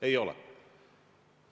Ei ole.